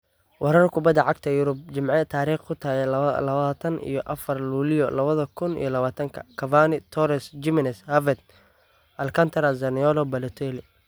Warar Kubbada Cagta Yurub Jimce tarikh tu tahy lawatan iyo afar luliyo lawadha kun iyo lawatanka: Cavani, Torres, Gimenez, Havertz, Alcantara, Zaniolo, Balotelli